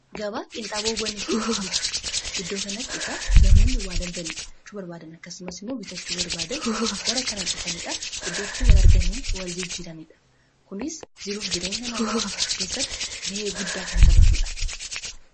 gabaa qinxaaboowanii fi buutika iddoo kanatti igaa namooni waalaldalachuu barbaadan akkasumas immoo biitachuu barbaadan gara kana dhufaniidha iddootti waarganii wal jijjiraniidha kunis jiruuf jireenya namaa keessatti ga'ee guddaa kan taphatuudha